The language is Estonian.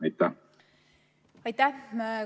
Aitäh!